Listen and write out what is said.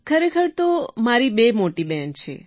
ખરેખર તો મારે બે મોટી બહેન છે